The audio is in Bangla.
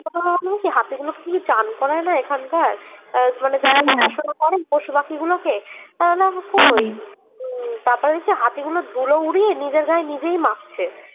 তখন আমার মনে হলো কি হাতিগুলো কে কি স্নান করায় না এখানকার আহ মানে যারা দেখাশুনা করেন পশুপাখি গুলোকে তাহলে তারপর দেখছি হাতিগুলো ধুলো উড়িয়ে নিজের গায়ে নিজেই মাখছে